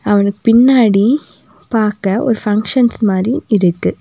அவனுக் பின்னாடி பாக்க ஒரு ஃபங்சன்ஸ் மாரி இருக்கு.